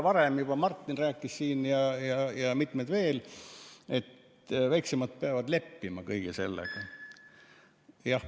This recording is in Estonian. Varem juba Martin rääkis siin ja mitmed teised ka veel, et väiksemad peavad kõige sellega leppima.